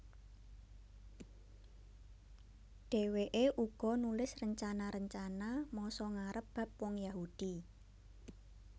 Dhèwèké uga nulis rencana rencana masa ngarep bab wong Yahudi